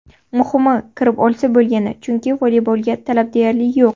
Muhimi kirib olsa bo‘lgani, chunki voleybolga talab deyarli yo‘q.